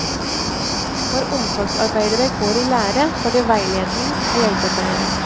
Når omsorgsarbeidere går i lære får de veiledning av hjelpepleiere.